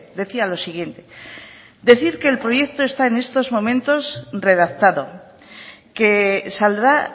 decía lo siguiente decir que el proyecto está en estos momentos redactado que saldrá